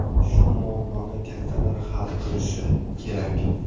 Shu muammoni kattalar hal qilishi kerak.